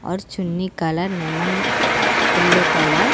ఆడ చున్నీ colour lemon yellow colour .